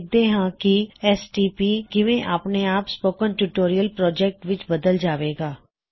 ਦੇਖਦੇ ਹਾਂ ਕੀ ਐਸਟੀਪੀ ਕਿਵੇਂ ਆਪਣੇ ਆਪ ਸਪੋਕਨ ਟਿਊਟੋਰਿਯਲ ਪ੍ਰੌਜੈਕਟ ਵਿੱਚ ਬਦਲ ਜਾਵੇਗਾ